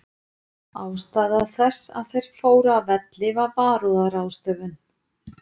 Ástæða þess að þeir fóru af velli var varúðarráðstöfun.